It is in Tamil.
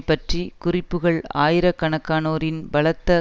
பற்றிய குறிப்புக்கள் ஆயிரக்கணக்கானோரின் பலத்த